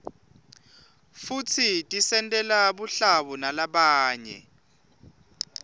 futsi tisentela buhlabo nalabanye